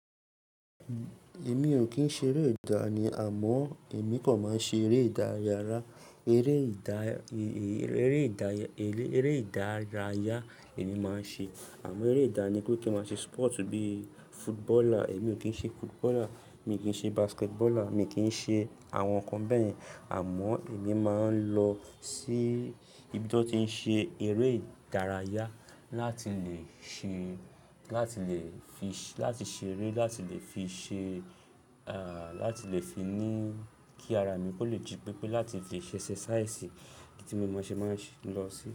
Èmi ò kí ń ṣe eré ìdání àmọ́ èmi kò máa ń ṣe eré ìdáyára ere ida eré ìdá, eré ìdárayá èmi máa ń ṣe àmọ́ eré ìdáni pe kí n máa ṣe sport bíi footballer èmi ò kí ń ṣe footballer, mi kí ń ṣe basketballer, mi kí ń ṣe àwọn nǹkan bẹ́ẹ̀ yen àmọ́ èmi máa ń lọ sí ibi to n ti ń ṣe eré ìdárayá láti lè ṣe, láti lè fi, láti ṣe eré, láti lè fi ṣe, ah, láti lè fi ní kí ara mi kó lè jí pépé, láti lè fi ṣe exercise kí tí mo maa n ṣe máa ń lọ sí.